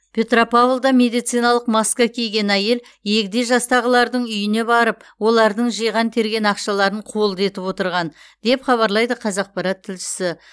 петропавлда медициналық маска киген әйел егде жастағылардың үйіне барып олардың жиған терген ақшаларын қолды етіп отырған деп хабарлайды қазақпарат тілшісі